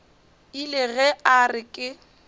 ile ge a re ke